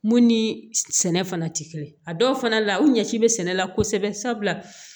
Mun ni sɛnɛ fana tɛ kelen a dɔw fana la u ɲɛci bɛ sɛnɛ la kosɛbɛ sabula